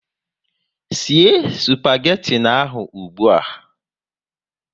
Sie spageti ahụ ụgbụa!